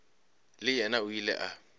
le yena o ile a